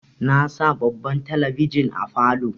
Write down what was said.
Na sa babban talabijin a falow